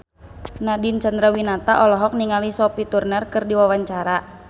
Nadine Chandrawinata olohok ningali Sophie Turner keur diwawancara